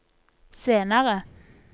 senere